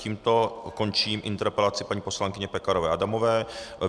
Tímto končím interpelaci paní poslankyně Pekarové Adamové.